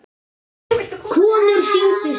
Konur signdu sig.